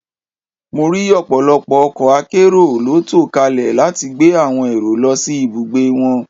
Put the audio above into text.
Mo rí ọ̀pọ̀lọpọ̀ ọkọ̀ akérò ló tò kalẹ̀ láti gbé àwòn èrò lọ sí ibùgbé wọn